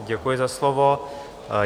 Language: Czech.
Děkuji za slovo.